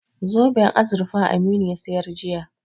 Zoben azurfa Aminu ya sayar jiya.